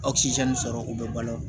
sɔrɔ u bɛ balo